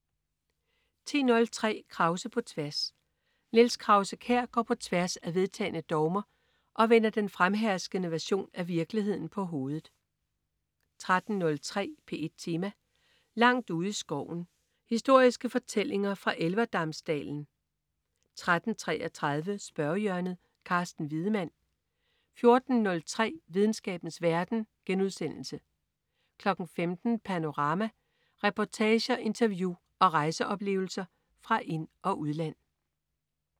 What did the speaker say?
10.03 Krause på tværs. Niels Krause-Kjær går på tværs af vedtagne dogmer og vender den fremherskende version af virkeligheden på hovedet 13.03 P1 Tema: Langt ude i skoven. Historiske fortællinger fra Elverdamsdalen 13.33 Spørgehjørnet. Carsten Wiedemann 14.03 Videnskabens verden* 15.00 Panorama. Reportager, interview og rejseoplevelser fra ind- og udland